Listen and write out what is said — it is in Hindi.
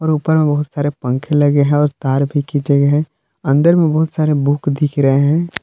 ऊपर में बहुत सारे पंखे लगे हैं और तार भी खींचे गए है अंदर में बहुत सारे बुक दिख रहे हैं।